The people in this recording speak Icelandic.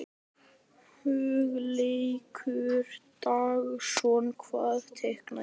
Hugleikur Dagsson: Hvað teikna ég?